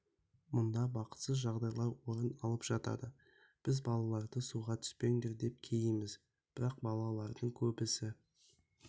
мұнда бақытсыз жағдайлар орын алып жатады біз балаларға суға түспеңдер деп кейиміз бірақ балалардың көбісі